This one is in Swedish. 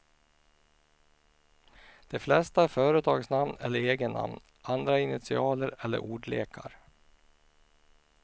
De flesta är företagsnamn eller egennamn, andra initialer eller ordlekar.